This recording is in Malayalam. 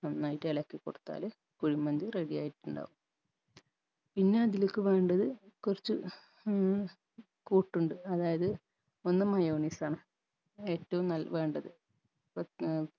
നന്നായിട്ട് എളക്കി കൊടുത്താല് കുഴിമന്തി ready ആയിട്ടുണ്ടാവും പിന്നെ അതിലെക്ക് വേണ്ടത് കൊർച്ച് ഏർ കൂട്ടുണ്ട് അതായത് ഒന്ന് mayonnaise ആണ് ഏറ്റും നൽ വേണ്ടത്